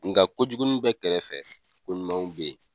Nka jugunin bɛ kɛrɛfɛ, ko ɲumanw be yen.